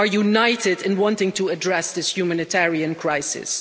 We are united in wanting to address this humanitarian crisis.